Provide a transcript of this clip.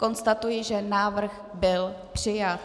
Konstatuji, že návrh byl přijat.